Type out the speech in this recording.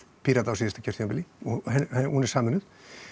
Pírata á síðasta kjörtímabili og hún er sameinuð